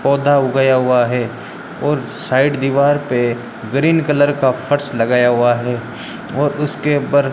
पौधा उगाया हुआ है और साइड दीवार पे ग्रीन कलर का फर्श लगाया हुआ है और उसके ऊपर--